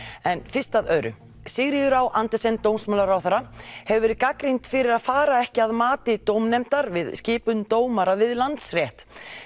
en fyrst að öðru Sigríður á Andersen dómsmálaráðherra hefur verið gagnrýnd fyrir að fara ekki að mati dómnefndar við skipum dómara við Landsrétt